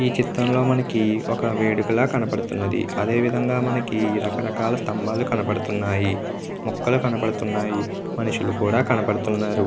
ఈ చిత్రం లో మనకి ఒక వేదికలా కనబడుతుంది. అధే విధంగా మనకి రకరకలు స్తంబాలు కనపడుతున్నాయి. మొక్కలు కనపడుతున్నాయి. మనుషులు కూడా కనబడుతున్నారు.